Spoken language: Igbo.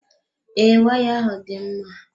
Ee, waya ahụ dị mma.